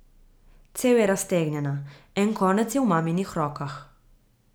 Cev je raztegnjena, en konec je v maminih rokah.